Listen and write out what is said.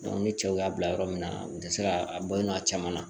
ni cɛw y'a bila yɔrɔ min na u tɛ se ka a bɔ a caman na